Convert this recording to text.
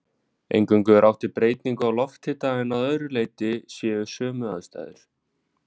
Eingöngu er átt við breytingu á lofthita en að öðru leyti séu sömu aðstæður.